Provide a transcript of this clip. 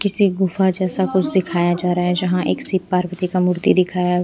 किसी गुफा जैसा कुछ दिखाया जा रहा है जहां एक शिव पार्वती का मूर्ति दिखाया--